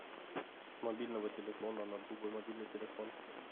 с мобильного телефона на другой мобильный телефон